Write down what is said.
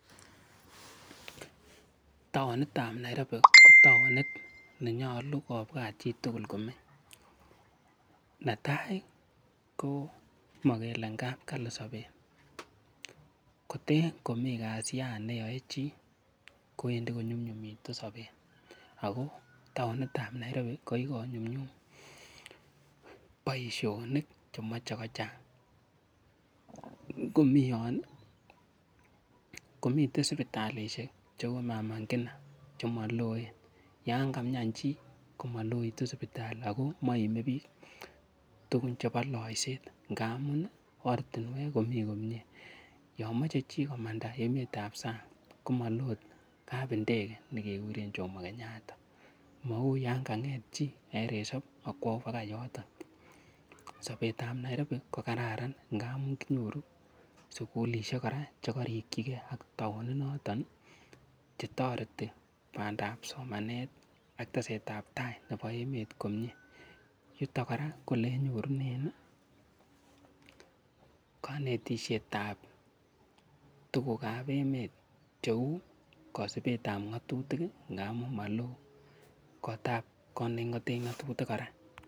Taonitab Nairobi ko taonit nenyolu kobwat chitugul komeny, netai komokele ngap kali sobet koten komi kasian neyoe chii kowendi konyumnyumitu sobet ako taonitab Nairobi ko kikonyumnyum boisionik chemoche kochang ngomi yon komiten sipitalisiek cheu mama Ngina chemoloen yangamian chii komaloitu sipitali ako moime biik tukun chepo laiset ngamun ortinwek komii komie yon moche chi komata emotinywekab sang komoloo kap ndege nekekuren Jomo kenyatta mou yanga ng'et chi kong'eten resop akwo bakai yoton, Nairobi kokararan kora ngamu kinyoru sukulisiek kora chekorikyike ak taoni noton chetoreti somanet ak bandab tai nebo emet yuton kora ko olenyorunen konetisietab tukukab emet cheu kosipetab ng'atutik ngamun molo kotab kot neking'oten ngatutik kora.